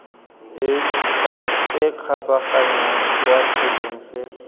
e kgabaganyang kwa selong se